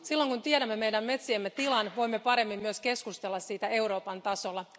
Silloin kun tiedämme meidän metsiemme tilan, voimme paremmin myös keskustella siitä Euroopan tasolla.